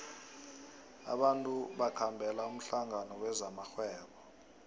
abantu bakhambela umhlangano wezamarhwebo